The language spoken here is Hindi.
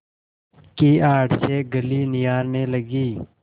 की आड़ से गली निहारने लगी